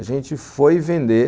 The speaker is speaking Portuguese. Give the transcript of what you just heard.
A gente foi vender.